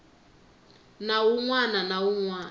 nawu wun wana na wun